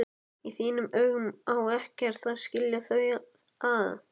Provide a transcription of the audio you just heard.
Í þínum augum á ekkert að skilja þau að.